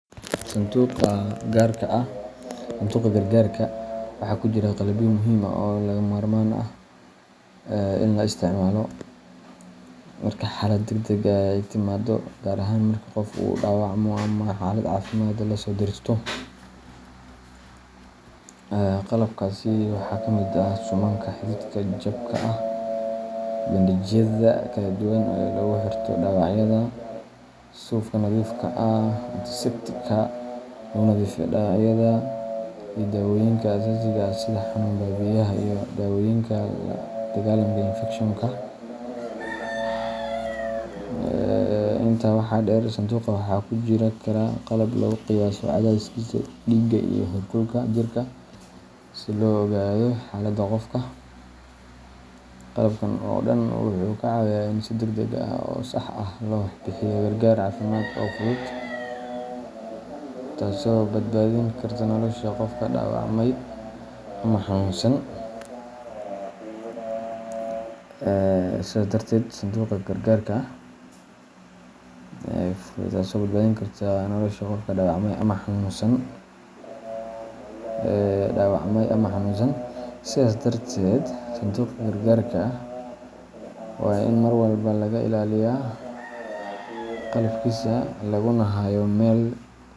Sanduuqa gargarka waxaa ku jira qalabyo muhiim ah oo lagama maarmaan u ah in la isticmaalo marka xaalad degdeg ah ay timaado, gaar ahaan marka qof uu dhaawacmo ama xaalad caafimaad la soo deristo. Qalabkaasi waxaa ka mid ah suumanka xididka jabka ah, bandage-yada kala duwan ee lagu xirto dhaawacyada, suufka nadiifka ah, antiseptic-ka lagu nadiifiyo dhaawacyada, iyo dawooyinka aasaasiga ah sida xanuun baabi’iyaha iyo daawooyinka la dagaalanka infection-ka. Intaa waxaa dheer, sanduuqa waxaa ku jiri kara qalab lagu qiyaaso cadaadiska dhiigga iyo heerkulka jirka si loo ogaado xaaladda qofka. Qalabkan oo dhan wuxuu ka caawiyaa in si degdeg ah oo sax ah loo bixiyo gargaar caafimaad oo fudud, taasoo badbaadin karta nolosha qofka dhaawacmay ama xanuunsan. Sidaas darteed, sanduuqa gargarka waa in mar walba laga ilaaliyaa qalabkiisa laguna hayo meel.